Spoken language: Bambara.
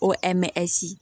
O hamsi